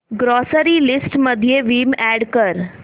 grocery list मध्ये Vim add कर